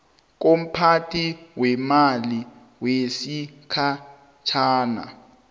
komphathi weemali wesikhatjhana